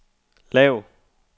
lav